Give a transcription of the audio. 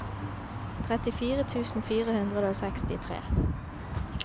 trettifire tusen fire hundre og sekstitre